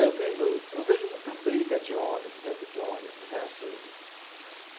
Eu ve eu eu vejo muita briga de ônibus dentro de ônibus né assim.